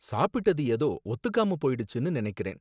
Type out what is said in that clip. சாப்பிட்டது ஏதோ ஒத்துக்காம போயிடுச்சுன்னு நனைக்கிறேன்